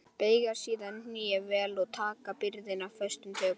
Beygja síðan hné vel og taka byrðina föstum tökum.